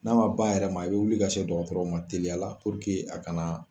N'a ma ba yɛrɛ ma i bɛ wuli ka se dɔgɔtɔrɔ ma teliya a kana.